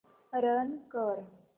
run कर